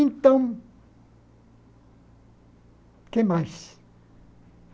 Então, o que mais?